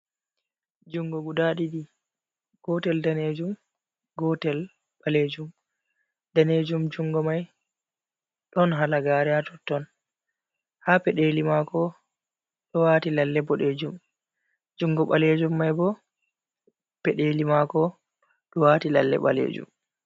Junngo guda ɗiɗi, gootel daneejum, go'ootel ɓaleejum, daneejum junngo may, ɗon halagaare haa totton, haa peɗeli maako ɗo waati lalle boɗeejum, junngo ɓaleejum may boo, peɗeeli maako ɗo waati lalle ɓaleejum.